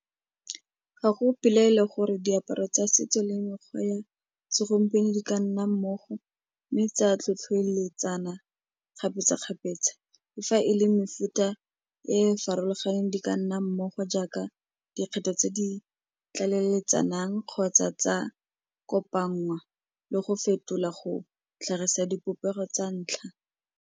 Ga go pelaelo gore diaparo tsa setso le mekgwa ya segompieno di ka nna mmogo mme tsa tlhotlhoeletsana kgapetsa-kgapetsa le fa e le mefuta e farologaneng di ka nna mmogo jaaka dikgetho tse di tlaleletsanang kgotsa tsa kopanngwa le go fetola go tlhagisa dipopego tsa ntlha.